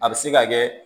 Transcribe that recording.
A bɛ se ka kɛ